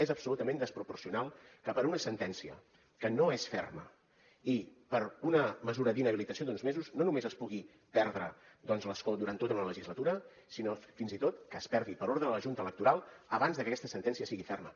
és absolutament desproporcionat que per una sentència que no és ferma i per una mesura d’inhabilitació d’uns mesos no només es pugui perdre doncs l’escó durant tota una legislatura sinó fins i tot que es perdi per ordre de la junta electoral abans de que aquesta sentència sigui ferma